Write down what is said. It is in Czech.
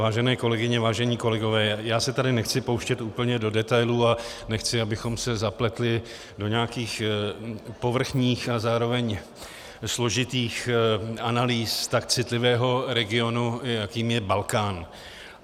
Vážené kolegyně, vážení kolegové, já se tady nechci pouštět úplně do detailů a nechci, abychom se zapletli do nějakých povrchních a zároveň složitých analýz tak citlivého regionu, jakým je Balkán.